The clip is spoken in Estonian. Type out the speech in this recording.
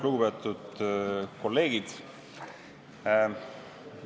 Lugupeetud kolleegid!